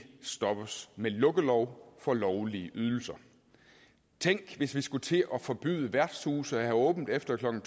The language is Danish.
stoppes med lukkelov for lovlige ydelser tænk hvis vi skulle til at forbyde værtshuse at have åbent efter klokken